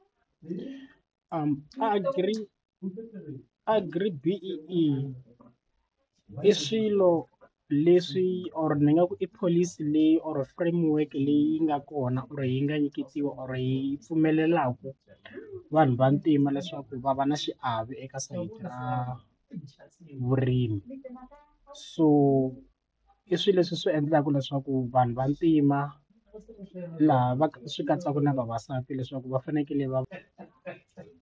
Agri agri-B_E_E i swilo leswi or ni nga ku i pholisi leyi or framework leyi nga kona or yi nga nyiketiwa or yi pfumelelaka vanhu vantima leswaku va va na xiave eka sayiti ra vurimi so i swilo leswi swi endlaka leswaku vanhu vantima laha va swi katsaka na vavasati leswaku va fanekele va.